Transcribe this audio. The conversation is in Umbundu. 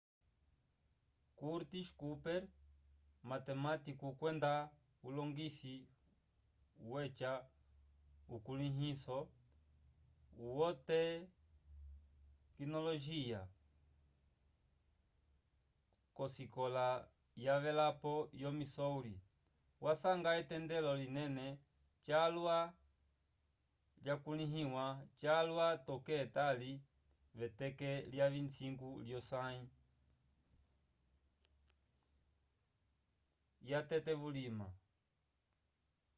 curtis cooper matematiku kwenda ulongisi weca ukulĩhiso wotekinolojiya k'osikola yavelapo yo missouri wasanga etendelo linene calwa lyakulĩhiwa calwa toke etali v'eteke lya 25 lyosãyi yatete vulima